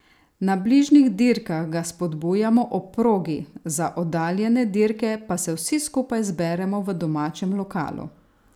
Na bližnjih dirkah ga spodbujamo ob progi, za oddaljene dirke pa se vsi skupaj zberemo v domačem lokalu.